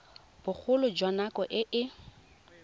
bogolo jwa nako e e